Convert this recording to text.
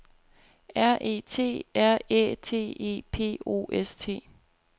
R E T R Æ T E P O S T